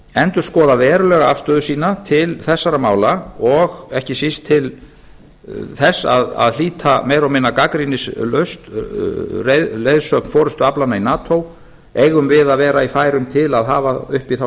endurskoða verulega afstöðu sína til þessara mála og ekki síst til þess að hlíta meira og minna gagnrýnislaust leiðsögn forustuaflanan í nato eigum við að vera í færum til að hafa uppi þá